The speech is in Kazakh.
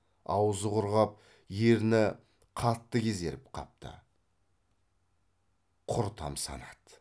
аузы құрғап ерні қатты кезеріп қапты құр тамсанады